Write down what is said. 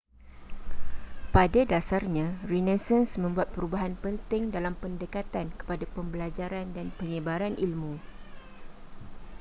pada dasarnya renaissance membuat perubahan penting dalam pendekatan kepada pembelajaran dan penyebaran ilmu